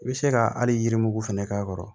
I bɛ se ka hali yirimugu fɛnɛ k'a kɔrɔ